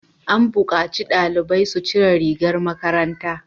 An bukaci dalibai su cire rigar makaranta!